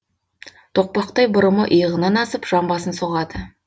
тоқпақтай бұрымы иығынан асып жамбасын соғады